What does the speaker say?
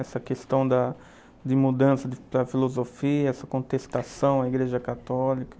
Essa questão de mudança da filosofia, essa contestação à Igreja Católica?